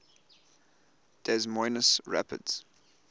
des moines rapids